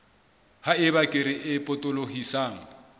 ha eba kere e potolohisang